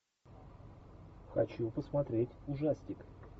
хочу посмотреть ужастик